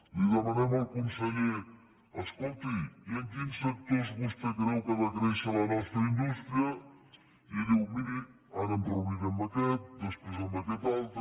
li demanem al conseller escolti i en quins sectors vostè creu que ha de créixer la nostra indústria i diu miri ara em reuniré amb aquest després amb aquest altre